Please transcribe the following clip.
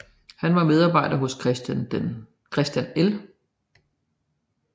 Han var medarbejder hos Christian L